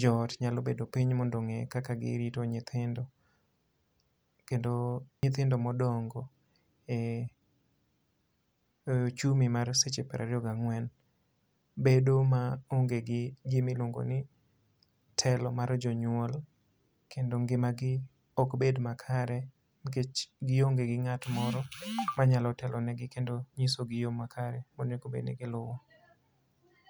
jo ot nyalo bedo piny, mondo ongé kaka girito nyithindo. Kendo nyithindo modongo e e ochumi mar seche piero ariyo gi ang'wen, bedo maonge gi gima iluongo ni telo mar jonyuol. Kendo ngimagi ok bed makare, nikech gionge go ngát moro manyalo telonegi kendo nyiso gi yo makare monego bed ni giluwo.